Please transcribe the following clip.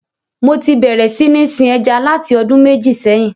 Mo ti bérè sí ní sin ẹja láti ọdún mẹ́jì sẹ́hìn.